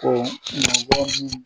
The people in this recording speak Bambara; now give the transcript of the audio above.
Ko mɔgɔ min